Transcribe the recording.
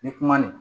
Ni kuma nin